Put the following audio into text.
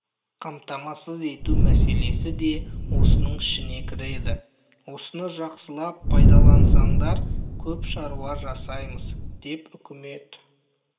қамтамасыз ету мәселесі де осының ішіне кіреді осыны жақсылап пайдалансаңдар көп шаруа жасаймыз деп үкімет